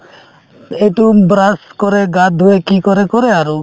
এইটো brush কৰে গা ধুয়ে কি কৰে কৰে আৰু